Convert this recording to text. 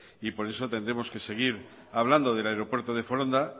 y por eso tendremos que seguir hablando del aeropuerto de foronda